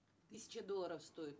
тысяча долларов стоит